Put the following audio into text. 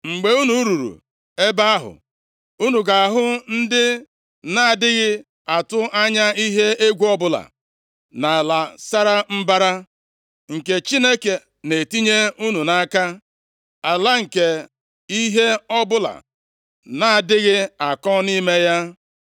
Mgbe unu ruru ebe ahụ, unu ga-ahụ ndị na-adịghị atụ anya ihe egwu ọbụla, na ala sara mbara nke Chineke na-etinye unu nʼaka. Ala nke ihe ọbụla na-adịghị akọ nʼime ya.”